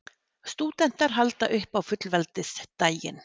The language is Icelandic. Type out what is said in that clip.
Stúdentar halda upp á fullveldisdaginn